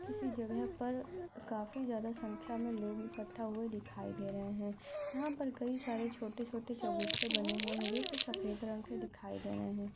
किसी जगह पर काफी ज्यादा संख्या मैं लोग इखट्टा हुए दिखाई दे रहे है। यहाँ पर कई सारे छोटे छोटे चबूतरे बने हुए जोकि सफ़ेद रंग के दिखाई दे रहे हैं।